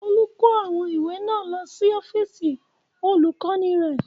Olú kó àwọn ìwé náà lọ sí ọ́fíísì Olùkọ́ní rẹ̀.